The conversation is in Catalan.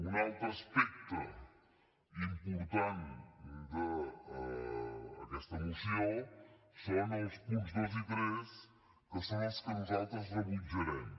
un altre aspecte important d’aquesta moció són els punts dos i tres que són els que nosaltres rebutjarem